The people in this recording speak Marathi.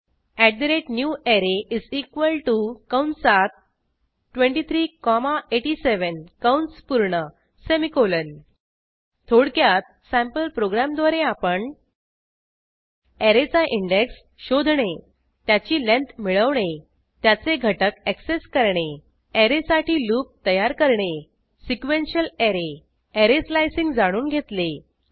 newArray कंसात 23 कॉमा 87 कंस पूर्ण सेमिकोलॉन थोडक्यात सँपल प्रोग्रॅमद्वारे आपण ऍरेचा इंडेक्स शोधणे त्याची लेंथ मिळवणे त्याचे घटक ऍक्सेस करणे ऍरे साठी लूप तयार करणे सिक्वेंन्शियल ऍरे ऍरे स्लाइसिंग जाणून घेतले